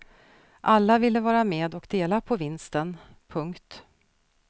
Alla ville vara med och dela på vinsten. punkt